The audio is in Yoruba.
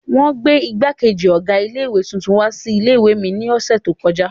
Wọn gbé ìgbákejì ọ̀gá ilé-ìwé tuntun wá sí ilé-ìwé mi lọ́sẹ̀ tó kọjá.